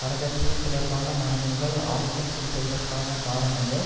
வரதட்சினை தொடர்பான மரணங்கள் ஆதிக்கம் செலுத்துவதற்கான காரணங்கள்